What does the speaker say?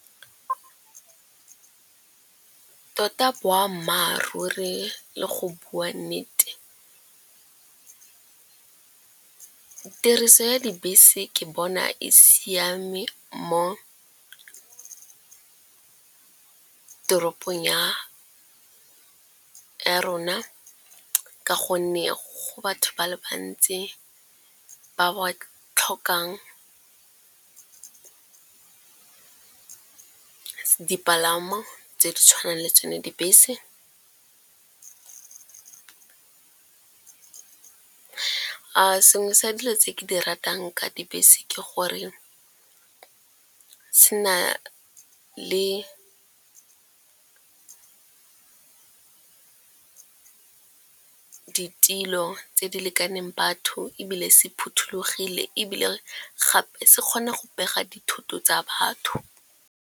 Tota boammaaruri le go bua nnete tiriso ya dibese ke bona e siame mo teropong ya rona ka gonne go batho ba le bantsi ba ba tlhokang dipalamo tse di tshwanang le tsone dibese. A sengwe sa dilo tse ke di ratang ka dibese ke gore se na le ditilo tse di lekaneng batho, ebile se phothulogile, ebile gape se kgona go pega dithoto tsa batho.